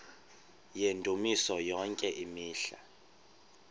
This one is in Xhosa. yendumiso yonke imihla